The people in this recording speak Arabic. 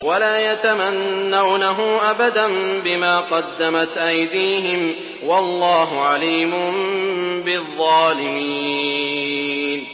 وَلَا يَتَمَنَّوْنَهُ أَبَدًا بِمَا قَدَّمَتْ أَيْدِيهِمْ ۚ وَاللَّهُ عَلِيمٌ بِالظَّالِمِينَ